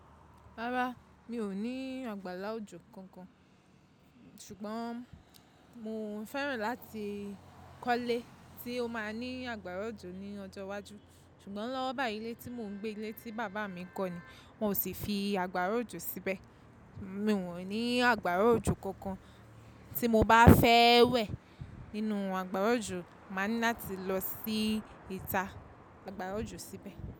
Rárá, mi ò ní àgbàlá òjò kankan ṣùgbọ́n mo fẹ́ràn láti kọ́lé tí ó máa ní àgbàrá òjò ní ọjọ́ iwájú. Ṣùgbọ́n lọ́wọ́ bayi ìlé tí mò ń gbé ilé tí bàbá mi kọ́ ni, wọn ò sí fi àgbàrá òjò síbẹ̀. Mi wọ́n ní àgbàrá òjò kankan tí mo bá fẹ́ wẹ̀ nínú àgbàrá òjò, màá ní láti lọ sí ìta àgbàrá òjò síbẹ̀.